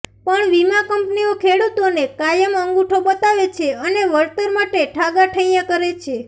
પણ વિમા કંપનીઓ ખેડુતોને કાયમ અંગુઠો બતાવે છે અને વળતર માટે ઠાગાઠૈયા કરે છે